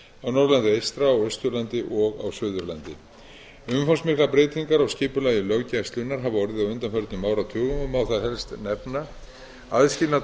norðurlandi eystra og austurlandi og á suðurlandi umfangsmiklar breytingar á skipulagi löggæslunnar hafa orðið á undanförnum áratugum má þar helst nefna aðskilnað